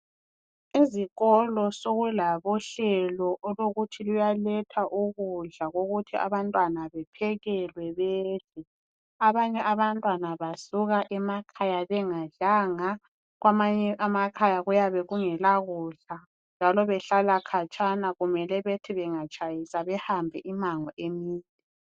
Ezikolo sokulabo hlelo olokuthi luyaletha ukudla ukuthi abantwana bephekelwe bedle abanye abantwana basuka emakhaya bengadlanga kwamanye amakhaya kuyabe kungela kudla njalo behlala khatshana kumele bethi bengatshayisa behambe imango emide.